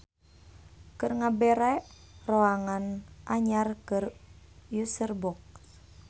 Keur ngabere roangan anyar keur userbox.